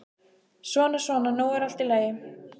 Svona, svona, nú er allt í lagi.